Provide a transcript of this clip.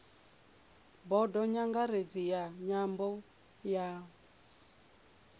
bodo nyangaredzi ya nyambo ya